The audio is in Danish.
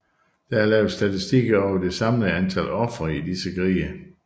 Der er lavet statistikker over det samlede antal ofre i disse krige